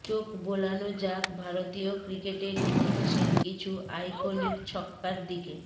চোখ বোলানো যাক ভারতীয় ক্রিকেটের ইতিহাসের কিছু আইকনিক ছক্কার দিকে